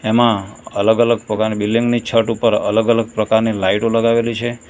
એમાં અલગ અલગ પ્રકારની બિલ્ડીંગ ની છટ ઉપર અલગ અલગ પ્રકારની લાઇટો લગાવેલી છે.